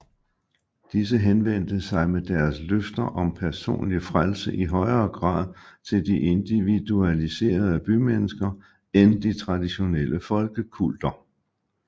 Disse henvendte sig med deres løfter om personlig frelse i højere grad til de individualiserede bymennesker end de traditionelle folkekulter